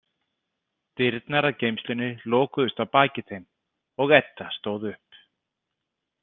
Dyrnar að geymslunni lokuðust að baki þeim og Edda stóð upp.